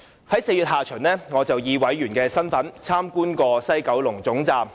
在4月下旬，我曾以法案委員會委員身份參觀西九龍站。